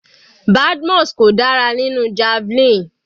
Badmus kò dára nínú javelin.